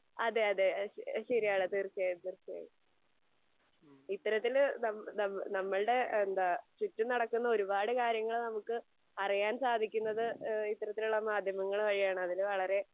അതെയതെ ശെരിയാണ് തീർച്ചയായും തീർച്ചയായും. ഇത്തരത്തിൽ നമ്മ നമ്മളുടെ എന്താ ചുറ്റും നടക്കുന്ന ഒരുപാട് കാര്യങ്ങൾ നമുക്ക് അറിയാൻ സാധിക്കുന്നത് ഈഹ് ഇത്തരത്തിലുള്ള മാധ്യമങ്ങൾ വഴിയാണ്. അതിന് വളരെ